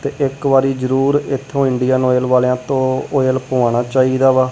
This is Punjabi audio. ਤੇ ਇੱਕ ਵਾਰੀ ਜਰੂਰ ਇੱਥੋਂ ਇੰਡੀਅਨ ਆਇਲ ਵਾਲੇਆਂ ਤੋਂ ਆਇਲ ਪੁਵਾਨਾਂ ਚਾਹੀਦਾ ਵਾ।